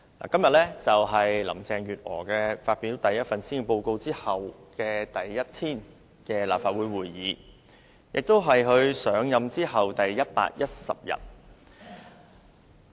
今天是林鄭月娥發表首份施政報告後立法會第一天舉行會議，亦是她上任第一百一十天。